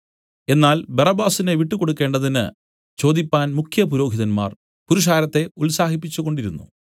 എന്നാൽ ബറബ്ബാസിനെ വിട്ടുകൊടുക്കേണ്ടതിന് ചോദിപ്പാൻ മുഖ്യപുരോഹിതന്മാർ പുരുഷാരത്തെ ഉത്സാഹിപ്പിച്ചുകൊണ്ടിരുന്നു